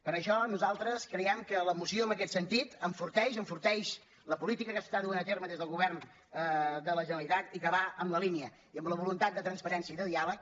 per això nosaltres creiem que la moció en aquest sentit enforteix enforteix la política que es du a terme des del govern de la generalitat i que va en la línia i amb la voluntat de transparència i de diàleg